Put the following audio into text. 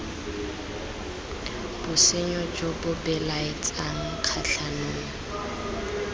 bosenyo jo bo belaetsang kgatlhanong